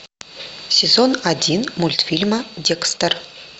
сезон один мультфильма декстер